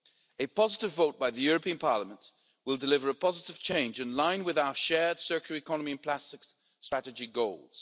A positive vote by the European Parliament will deliver a positive change in line with our shared circular economy in plastics strategy goals.